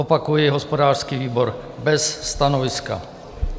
Opakuji, hospodářský výbor bez stanoviska.